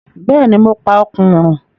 Bẹ́ẹ̀ni, mo pa Òkùnrùn.